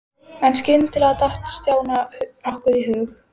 En skyndilega datt Stjána nokkuð í hug.